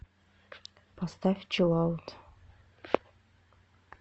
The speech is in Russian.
поставь чилаут